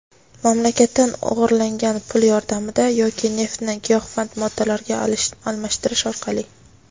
mamlakatdan "o‘g‘irlangan" pul yordamida yoki neftni giyohvand moddalarga almashtirish orqali.